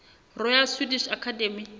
royal swedish academy